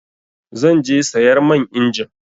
Zan je sayar man injin.